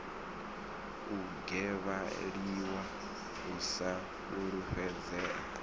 u gwevheliwa u sa fulufhedzea